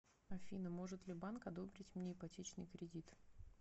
афина может ли банк одобрить мне ипотечный кредит